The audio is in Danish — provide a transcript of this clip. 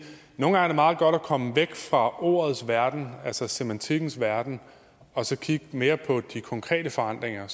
nogle gange er meget godt at komme væk fra ordets verden altså semantikkens verden og så kigge mere på de konkrete forandringer